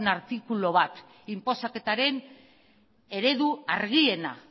artikulu bat inposaketaren eredu argiena